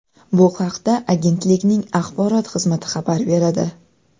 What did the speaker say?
Bu haqda agentlikning axborot xizmati xabar beradi .